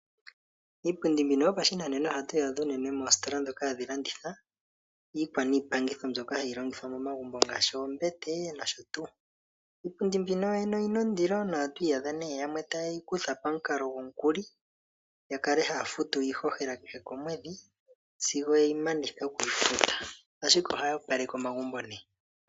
Iipundi mbino yopashinanena ohatu yi adha unene moositola dhoka hadhi landitha iikwa niipangitho mbyoka hayi longithwa momagumbo ngaashi, ombete nosho tuu. Iipundi mbino yoyene oyina ondilo, oto adha nduno yamwe ta ye yi kutha pamukalo gomukuli yakale ha ye yi futu kiihohela kehe komwedhi, ashike oha yi opaleke omagumbo nee.